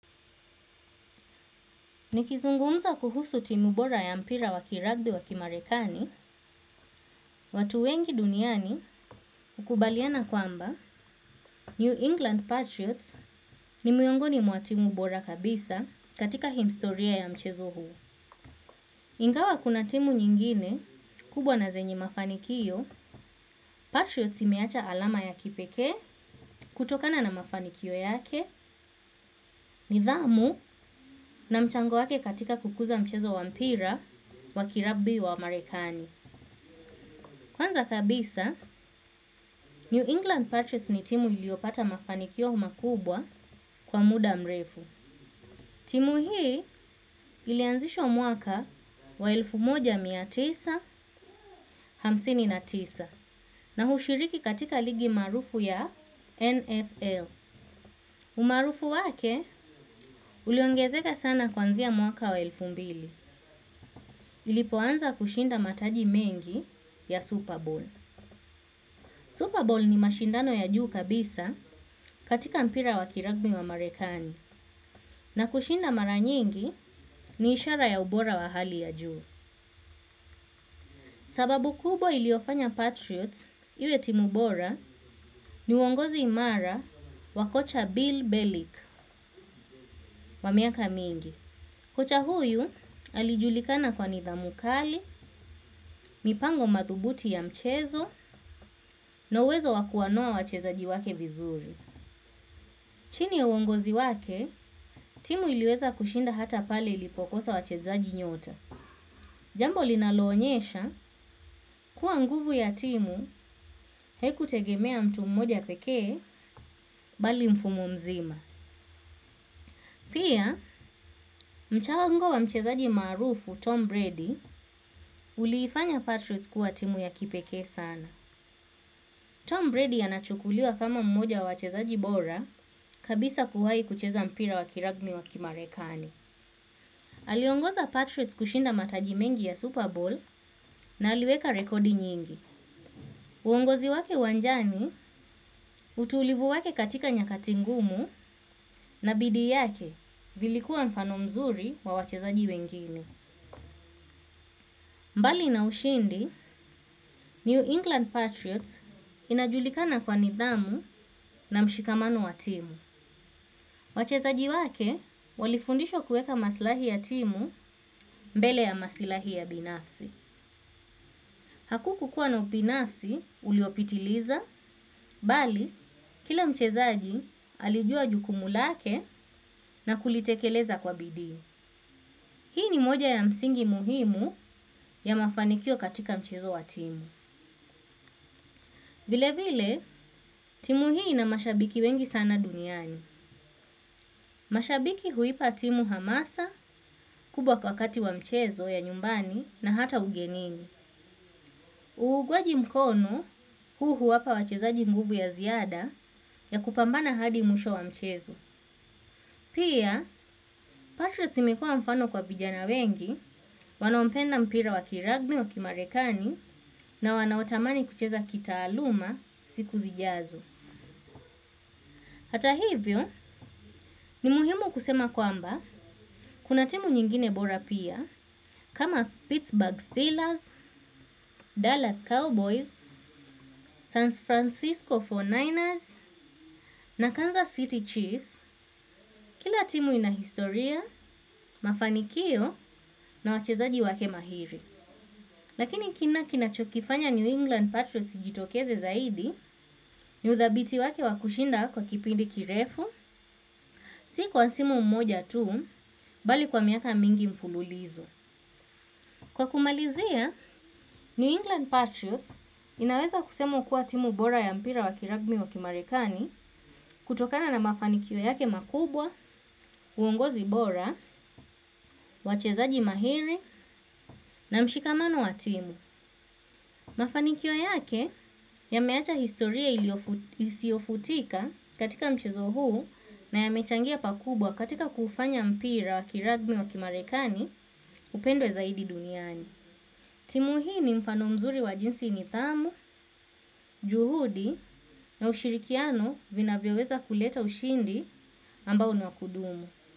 Nikizungumza kuhusu timu bora ya mpira wa kiragbi wa kimarekani, watu wengi duniani ukubaliana kwamba New England Patriots ni miongoni mwa timu bora kabisa katika historia ya mchezo huo. Ingawa kuna timu nyingine kubwa na zenye mafanikio, Patriots imeacha alama ya kipekee kutokana na mafanikio yake nidhamu na mchango wake katika kukuza mchezo wa mpira wa kiragbi wa marekani. Kwanza kabisa, New England Patriots ni timu iliopata mafanikio makubwa kwa muda mrefu. Timu hii ilianzishwa mwaka wa elfu moja na mia tisa na hamsini na tisa na hushiriki katika ligi maarufu ya NFL. Umaarufu wake, uliongezeka sana kwanzia mwaka wa elfu mbili. Ilipo anza kushinda mataji mengi ya Super Bowl. Super Bowl ni mashindano ya juu kabisa katika mpira wa kiragbi wa marekani na kushinda mara nyingi ni ishara ya ubora wa hali ya juu. Sababu kubwa iliofanya Patriots, iwe timu bora ni uongozi imara wa kocha Bill Bellick wa miaka mingi. Kocha huyu alijulikana kwa nithamu kali, mipango madhubuti ya mchezo na uwezo wa kuwanoa wachezaji wake vizuri. Chini ya uongozi wake, timu iliweza kushinda hata pale ilipokosa wachezaji nyota. Jambo linaloonyesha kuwa nguvu ya timu haiku tegemea mtu mmoja pekee bali mfumo mzima. Pia, mchango wa mchezaji maarufu Tom Brady uliifanya Patriots kuwa timu ya kipekee sana. Tom Brady anachukuliwa kama mmoja wa wachezaji bora kabisa kuwai kucheza mpira wa kiragbi wa kimarekani. Aliongoza Patriots kushinda mataji mengi ya Super Bowl na aliweka rekodi nyingi. Uongozi wake uwanjani utulivu wake katika nyakati ngumu na bidii yake vilikuwa mfano mzuri kwa wachezaji wengine. Mbali na ushindi, New England Patriots inajulikana kwa nidhamu na mshikamano wa timu. Wachezaji wake walifundishwa kuweka masilahi ya timu mbele ya masilahi ya binafsi. Hakukuwa na ubinafsi uliopitiliza bali kila mchezaji alijua jukumu lake na kulitekeleza kwa bidii. Hii ni moja ya msingi muhimu ya mafanikio katika mchezo wa timu. Vile vile, timu hii ina mashabiki wengi sana duniani. Mashabiki huipa timu hamasa kubwa wakati wa mchezo ya nyumbani na hata ugenini. Uugwaji mkono huu huwapa wachezaji nguvu ya ziada ya kupambana hadi mwisho wa mchezo. Pia Patriots imekuwa mfano kwa vijana wengi wanaopenda mpira wa kiragbi wa kimarekani na wanaotamani kucheza kitaaluma siku zijazo. Hata hivyo ni muhimu kusema kwamba kuna timu nyingine bora pia kama Pittsburgh Steelers, Dallas Cowboys, San Francisco 49ers na Kansas City Chiefs kila timu inahistoria, mafanikio na wachezaji wake mahiri. Lakini kile kina chokifanya New England Patriots ijitokeze zaidi ni udhabiti wake wa kushinda kwa kipindi kirefu, si kwa msimu mmoja tu, bali kwa miaka mingi mfululizo. Kwa kumalizia, New England Patriots inaweza kusema kuwa timu bora ya mpira wa kiragbi wa kimarekani kutokana na mafanikio yake makubwa, uongozi bora, wachezaji mahiri na mshikamano wa timu. Mafanikyo yake yameacha historia isiofutika katika mchezo huu na yamechangia pakubwa katika kufanya mpira wa kiragbi wa kimarekani upendwe zaidi duniani. Timu hii ni mfano mzuri wa jinsi nithamu, juhudi na ushirikiano vinavyoweza kuleta ushindi ambao ni wa kudumu.